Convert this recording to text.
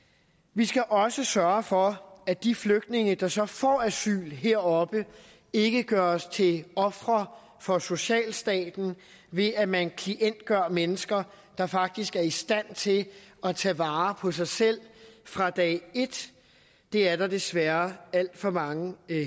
vi skal også sørge for at de flygtninge der så får asyl heroppe ikke gøres til ofre for socialstaten ved at man klientgør mennesker der faktisk er i stand til at tage vare på sig selv fra dag et det er der desværre alt for mange